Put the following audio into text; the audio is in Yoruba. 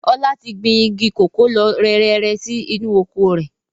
Ọlá tí gbìn igi kòkó lọ rẹrẹrẹ sì inú oko rẹ̀